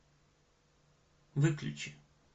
выключи